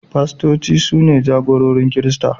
Pastoci su ne jagororin Kirista.